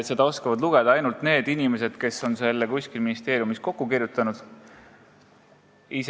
Seda oskavad lugeda ainult inimesed, kes on selle kuskil ministeeriumis kokku kirjutanud.